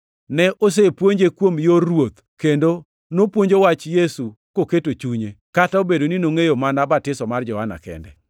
Ne osepuonje kuom yor Ruoth, kendo nopuonjo wach Yesu koketo chunye, kata obedo ni nongʼeyo mana batiso mar Johana kende.